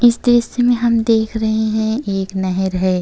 इस दृश्य में हम देख रहे हैं एक नहर है।